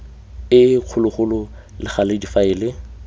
e kgologolo le gale difaele